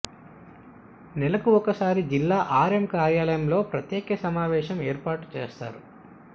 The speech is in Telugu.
నెలకు ఒక్కసారి జిల్లా ఆర్ఎం కార్యాలయంలో ప్రత్యే క సమావేశం ఏర్పాటు చేస్తారు